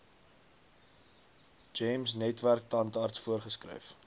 gems netwerktandarts voorgeskryf